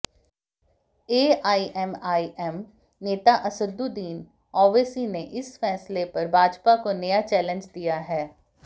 AIMIM नेता असदुद्दीन ओवैसी ने इस फैसले पर भाजपा को नया चैलेंज दिया है